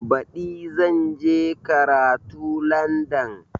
Baɗi zan je karatu Landan